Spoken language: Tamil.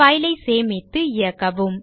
file ஐ சேமித்து இயக்கவும்